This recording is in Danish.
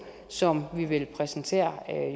som vi vil præsentere